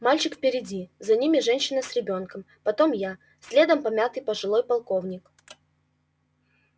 мальчик впереди за ними женщина с ребёнком потом я следом помятый пожилой полковник